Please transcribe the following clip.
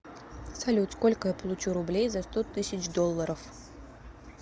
салют сколько я получу рублей за сто тысяч долларов